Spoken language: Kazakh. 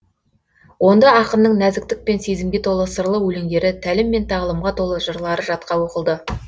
онда ақынның нәзіктік пен сезімге толы сырлы өлеңдері тәлім мен тағылымға толы жырлары жатқа оқылды